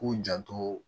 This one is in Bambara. K'u janto